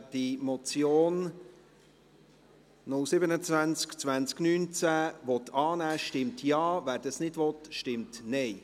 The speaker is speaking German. Wer die Motion 027-2019 annehmen will, stimmt Ja, wer dies nicht will, stimmt Nein.